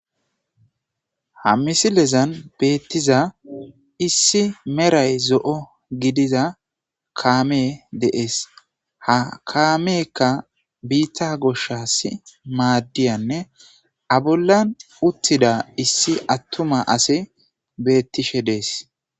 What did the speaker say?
ha misilezan beettiza issi meray zo7o gidiza kaame de'ees ha kaameekka biitta goshas maaddiyanne abollan uttida issi attuma ase beettishe dees